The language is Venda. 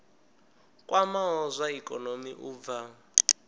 kwamaho zwa ikonomi u bva